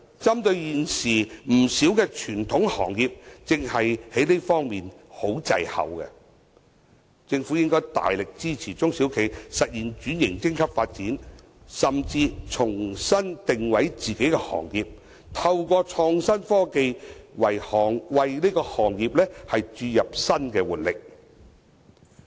針對現時有不少傳統行業正正在這方面十分滯後，政府應該大力支援中小企實現升級轉型發展，甚至為自己的行業重新定位，透過創新科技為行業注入新的活力。